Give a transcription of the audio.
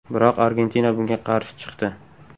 Biroq Argentina bunga qarshi chiqdi.